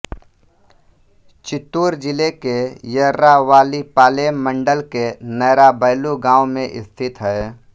चित्तूर जिले के येर्रावारिपालेम मंडल के नेराबैलु गांव में स्थित है